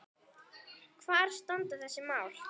Hvar standa þessi mál?